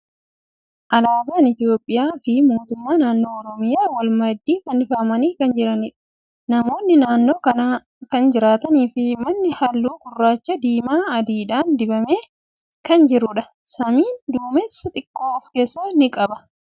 Alaaban Itiyoophiyyaa fi mootummaa naannoo Oromiyyaa wal maddii fannifamanii kan jiraniidha. Namoonni naannoo kana kan jiranii fi manni haalluu gurraacha, diimaa fi adiidhan dibame kan jiruudha. Samiin duumessa xiqqoo of keessaa ni qaba.